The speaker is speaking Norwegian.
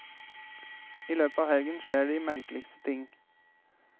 I løpet av helgen skjer de merkeligste ting.